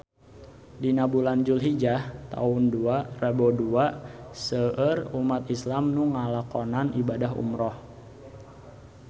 Dina bulan Julhijah taun dua rebu dua seueur umat islam nu ngalakonan ibadah umrah